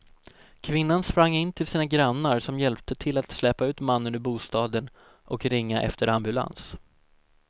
Kvinnan sprang in till sina grannar som hjälpte till att släpa ut mannen ur bostaden och ringa efter ambulans.